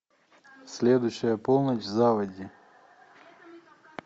следующая полночь в заводи